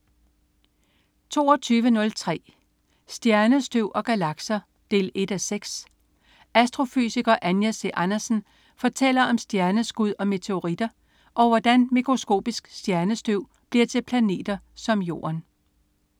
22.03 Stjernestøv og galakser 1:6. Astrofysiker Anja C. Andersen fortæller om stjerneskud og meteoritter, og hvordan mikroskopisk stjernestøv bliver til planeter som jorden